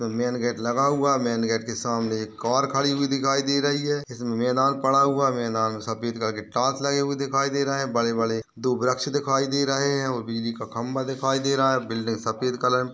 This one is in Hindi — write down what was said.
मेन गेट लगा हुआ है। मेन गेट के सामने एक कार खड़ी हुई दिखाई दे रही है। इसमें मैदान पड़ा हुआ है। मैदान में सफ़ेद कलर के टाइल्स लगे हुए दिखाई दे रहे हैं। बड़े बड़े दो वृक्ष दिखाई दे रहे हैं और बिजली का खम्बा दिखाई दे रहा है। बिल्डिंग सफ़ेद कलर --